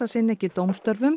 sinna ekki dómstörfum